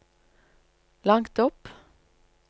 langt opp